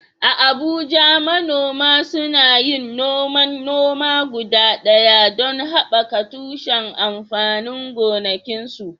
A Abuja, manoma suna yin noman noma guda ɗaya don haɓaka tushen amfanin gonakinsu.